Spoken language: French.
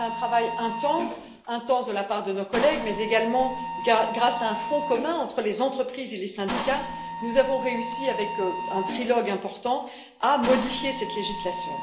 Grâce à un travail intense de la part de nos collègues, mais également grâce à un front commun entre les entreprises et les syndicats, nous avons réussi avec un trilogue important à modifier cette législation.